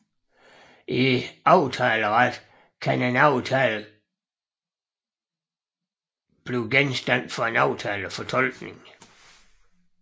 I aftaleret kan en aftale kan blive genstand for aftalefortolkning